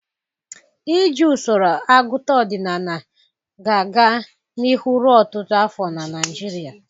Iji usoro agụta ọdịnala ga-aga n'ihu ruo ọtụtụ afọ na Nigeria.